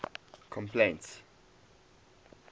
complaints